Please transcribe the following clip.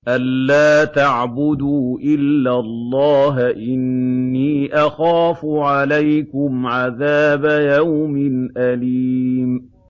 أَن لَّا تَعْبُدُوا إِلَّا اللَّهَ ۖ إِنِّي أَخَافُ عَلَيْكُمْ عَذَابَ يَوْمٍ أَلِيمٍ